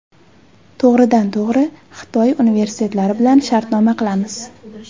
To‘g‘ridan to‘g‘ri Xitoy universitetlari bilan shartnoma qilamiz!